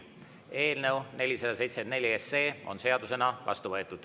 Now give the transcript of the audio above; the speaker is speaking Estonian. Eelnõu 474 on seadusena vastu võetud.